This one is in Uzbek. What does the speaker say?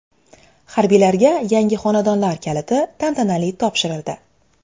Harbiylarga yangi xonadonlar kaliti tantanali topshirildi.